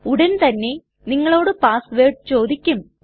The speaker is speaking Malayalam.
ഉടൻതന്നെ നിങ്ങളോട് പാസ് വേർഡ് ചോദിക്കും